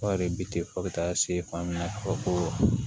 Kɔɔri bi fɔ ka taa se fan bɛɛ fɔ ko